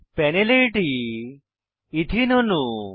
প্যানেলে এটি এথেনে ইথিন অণু